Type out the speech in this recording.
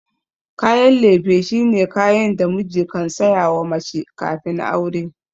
Kayan lefe shine kayan da miji kan sayawa mace kafin aure.